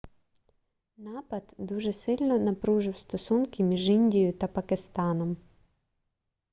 напад дуже сильно напружив стосунки між індією та пакистаном